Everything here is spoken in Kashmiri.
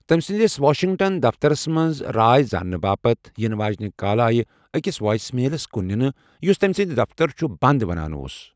تمہِ سندِس واشِنگٹن دفترس منز راے زاننہٕ باپت یِنہٕ واجِنہِ كالہٕ آیہ اكِس وایس میلس كٗن نِنہٕ یٗس تمہِ سٗند 'دفتر چھٗ بند' ونان اوس ۔